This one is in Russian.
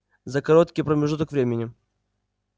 за короткий промежуток времени